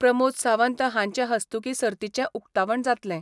प्रमोद सावंत हांचे हस्तूकीं सर्तीचे उक्तावण जातलें.